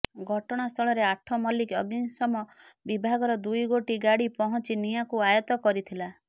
ଘଟଣାସ୍ଥଳରେ ଆଠମଲ୍ଲିକ ଅଗ୍ନିଶମ ବିଭାଗର ଦୁଇ ଗୋଟି ଗାଡି ପହଞ୍ଚି ନିଆଁକୁ ଆୟତ୍ତ କରିଥିଲା